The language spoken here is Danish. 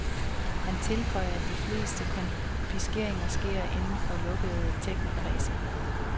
Han tilføjer, at de fleste konfiskationer sker inden for lukkede technokredse.